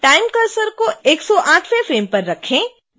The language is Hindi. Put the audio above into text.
time cursor को 108वें फ्रेम पर रखें